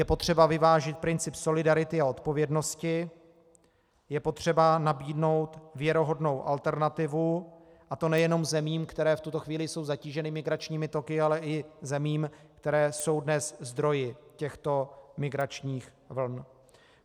Je potřeba vyvážit princip solidarity a odpovědnosti, je potřeba nabídnout věrohodnou alternativu, a to nejen zemím, které v tuto chvíli jsou zatíženy migračními toky, ale i zemím, které jsou dnes zdroji těchto migračních vln.